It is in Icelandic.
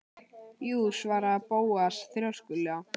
Jú- svaraði Bóas þrjóskulega.